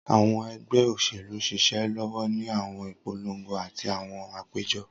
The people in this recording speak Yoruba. Awọn ẹgbẹ oṣelu n ṣiṣẹ lọwọ ni awọn ipolongo ati awọn apejọ.